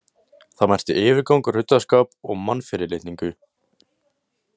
Það merkti yfirgang, ruddaskap og mannfyrirlitningu.